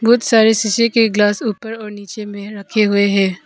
बहुत सारे सीसी के गिलास ऊपर और नीचे में रखे हुए हैं।